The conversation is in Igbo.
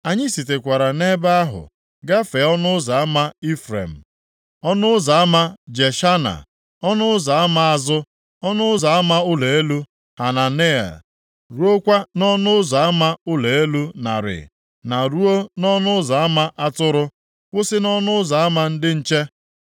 Anyị sitekwara nʼebe ahụ gafee Ọnụ Ụzọ Ama Ifrem, Ọnụ Ụzọ ama Jeshana, Ọnụ Ụzọ Ama Azụ, Ọnụ Ụzọ Ama Ụlọ Elu Hananel, ruokwa nʼỌnụ Ụzọ Ama Ụlọ Elu Narị na ruo nʼỌnụ Ụzọ Ama Atụrụ, kwụsị nʼỌnụ Ụzọ Ama Ndị Nche.